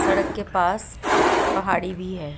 सड़क के पास पहाड़ी भी है।